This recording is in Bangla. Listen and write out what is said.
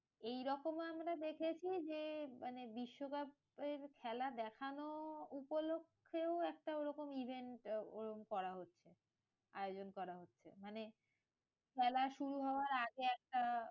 এইরকম আমরা দেখেছি যে, মানে বিশ্বকাপের খেলা দেখানো উপলক্ষেও একটা ওরকম event ওরম করা হয়েছিল। আয়োজন করা হয়েছে মানে খেলা শুরু হওয়ার আগে একটা